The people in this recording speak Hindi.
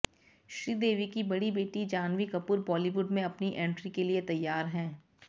श्रीदेवी की बड़ी बेटी जाह्नवी कपूर बॉलीवुड में अपनी एंट्री के लिए तैयार हैं